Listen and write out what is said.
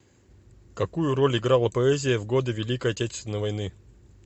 какую роль играла поэзия в годы великой отечественной войны